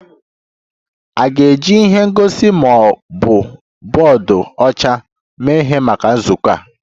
A ga-eji ihe ngosi ma ọ bụ bọọdụ ọcha mee ihe maka nzukọ ahụ?